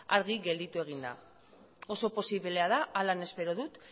argi gelditu egin da oso posiblea da horrela espero dut